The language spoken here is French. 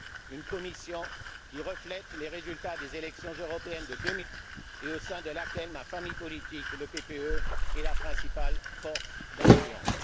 une Commission qui reflète les résultats des élections européennes de 2009, et au sein de laquelle ma famille politique, le PPE, est la principale force d'influence